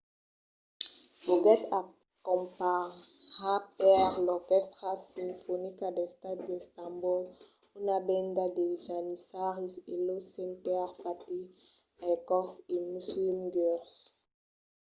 foguèt acompanhat per l'orquèstra sinfonica d'estat d'istanbol una benda de janissaris e los cantaires fatih erkoç e müslüm gürses